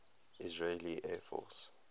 israeli air force